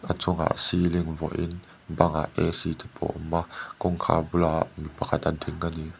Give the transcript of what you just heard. a chungah ceiling vuahin bangah te pawh awm a kawngkhar bulah mi pakhat a ding a ni.